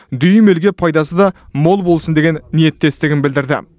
дүйім елге пайдасы да мол болсын деген ниеттестігін білдірді